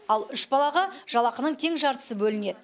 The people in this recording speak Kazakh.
ал үш балаға жалақының тең жартысы бөлінеді